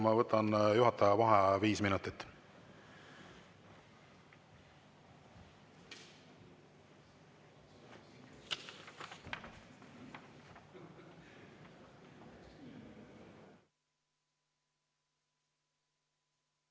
Ma võtan juhataja vaheaja viis minutit.